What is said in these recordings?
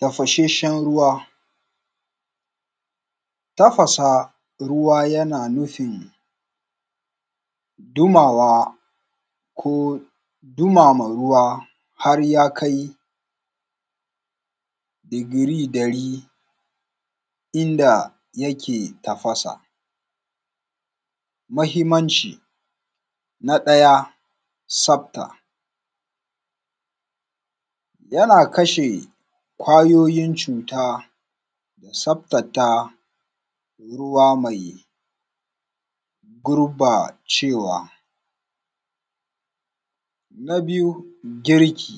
Tafasheshshen ruwa. Tafasa ruwa yana nufin. Dumawa ko, dumama ruwa. Har ya kai, digiri ɗari. Inda yake tafasa. Mahimmanci. Na ɗaya, tsaftata. Yana kashe kwayoyin cuta. Da tsaftata ruwa, mai gurbacewa. Na biyu girki.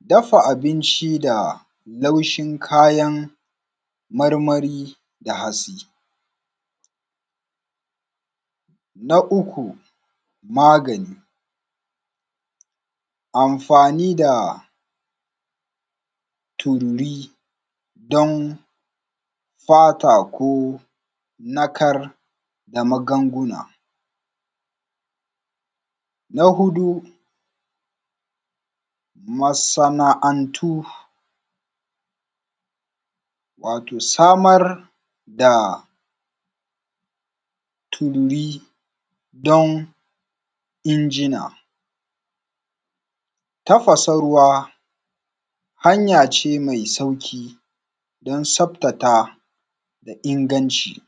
Dafa abinci da, laushin kayan marmari da hatsi. Na uku, magani. Amfani da, turiri don. Fata ko narkar da magunguna. Na huɗu, masana’antu. Wato samar da, turri don injina. Tafasa ruwa hanya ce mai sauƙi. Don tsaftata da inganci.